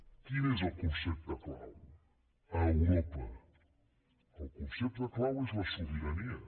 quin és el concepte clau a europa el concepte clau és la sobirania